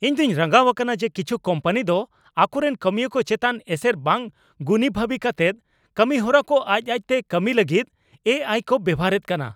ᱤᱧ ᱫᱚᱧ ᱨᱟᱸᱜᱟᱣ ᱟᱠᱟᱱᱟ ᱡᱮ ᱠᱤᱪᱷᱩ ᱠᱳᱢᱯᱟᱱᱤ ᱫᱚ ᱟᱠᱚᱨᱮᱱ ᱠᱟᱹᱢᱤᱭᱟᱹ ᱠᱚ ᱪᱮᱛᱟᱱ ᱮᱥᱮᱨ ᱵᱟᱝ ᱜᱩᱱᱤᱵᱷᱟᱵᱤ ᱠᱟᱛᱮᱫ ᱠᱟᱹᱢᱤᱦᱚᱨᱟ ᱠᱚ ᱟᱡ ᱟᱡᱛᱮ ᱠᱟᱹᱢᱤᱭ ᱞᱟᱹᱜᱤᱫ ᱮ ᱟᱭ ᱠᱚ ᱵᱮᱵᱚᱦᱟᱨᱮᱫ ᱠᱟᱱᱟ ᱾